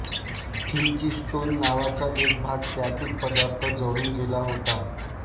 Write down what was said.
phlogiston नावाचा एक भाग त्यातील पदार्थ जळून गेला होता